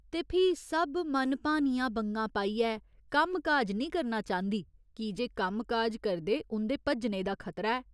ते फ्ही सब मनभानियां बंगां पाइयै कम्म काज निं करना चांह्दी की जे कम्म काज करदे उं'दे भज्जने दा खतरा ऐ।